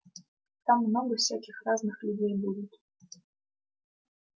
там много всяких разных людей будет